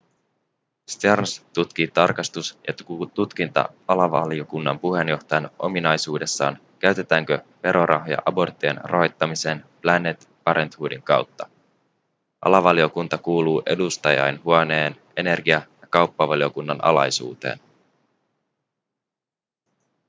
stearns tutkii tarkastus- ja tutkinta-alavaliokunnan puheenjohtajan ominaisuudessaan käytetäänkö verorahoja aborttien rahoittamiseen planned parenthoodin kautta alavaliokunta kuuluu edustajainhuoneen energia- ja kauppavaliokunnan alaisuuteen